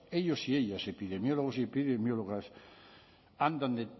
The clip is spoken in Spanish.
ellos y ellas epidemiólogos y epidemiólogas andan